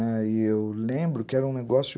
Aí eu lembro que era um negócio...